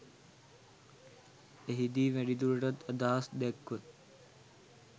එහිදී වැඩිදුරටත් අදහස් දැක්ව